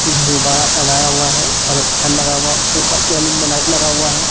कुछ गुब्बारा सजाया हुआ हे और एक फेन लगा हुआ ऊपर सिलिंग मे लाइट लगा हुआ हे.